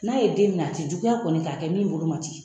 N'a ye den minɛ a tɛ juguya kɔni k'a kɛ min bolo ma ci